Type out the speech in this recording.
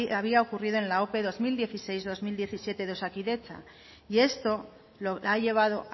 había ocurrido en la ope bi mila hamasei bi mila hamazazpi de osakidetza y esto ha llevado